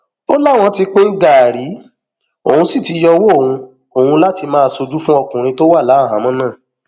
ó láwọn ti pín gàárì òun sì ti yọwọ òun òun láti máa ṣojú fún ọkùnrin tó wà láhàámọ náà